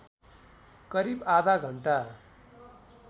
करिब आधा घण्टा